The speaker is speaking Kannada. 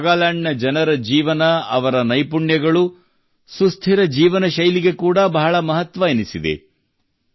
ನಾಗಾಲ್ಯಾಂಡ್ ನ ಜನರ ಜೀವನ ಮತ್ತು ಅವರ ನಿಪುಣತೆಗಳು ಸುಸ್ಥಿರ ಜೀವನಶೈಲಿಗೆ ಕೂಡಾ ಬಹಳ ಮಹತ್ವವೆನಿಸಿವೆ